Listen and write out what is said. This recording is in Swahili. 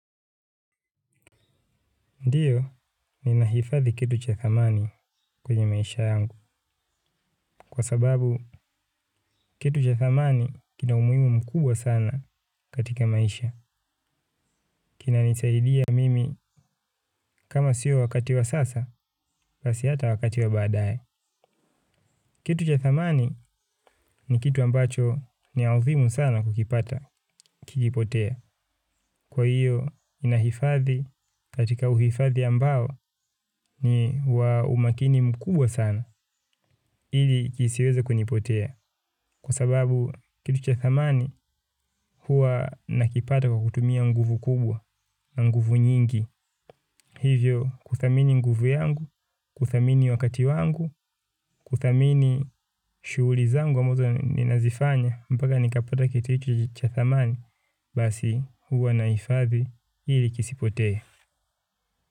Ndiyo, ninahifadhi kitu cha thamani kwenye maisha yangu. Kwa sababu, kitu cha thamani kina umuhimu mkubwa sana katika maisha. Kinanisaidia mimi kama siyo wakati wa sasa, basi hata wakati wa baadaye. Kitu cha thamani ni kitu ambacho ni adhimu sana kukipata, kikipotea. Kwa iyo, ninahifadhi katika uhifadhi ambao ni wa umakini mkubwa sana. Ili kisiweze kunipotea kwa sababu kitu cha thamani huwa nakipata kwa kutumia nguvu kubwa na nguvu nyingi hivyo kuthamini nguvu yangu kuthamini wakati wangu kuthamini shughuli zangu ambazo ninazifanya mpaka nikapata kitu hiki cha thamani basi huwa naifadhi ili kisipotee.